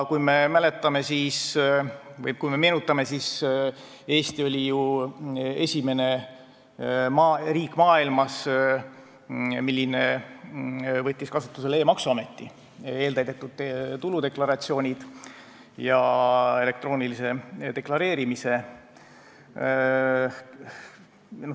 Kui me meenutame, siis Eesti võttis ju maailma esimese riigina kasutusele e-maksuameti, eeltäidetud tuludeklaratsioonid ja elektroonilise deklareerimise.